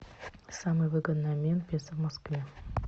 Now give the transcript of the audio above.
самый выгодный обмен песо в москве